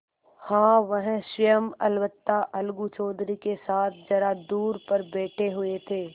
हाँ वह स्वयं अलबत्ता अलगू चौधरी के साथ जरा दूर पर बैठे हुए थे